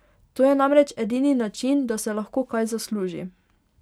To je namreč edini način, da se lahko kaj zasluži.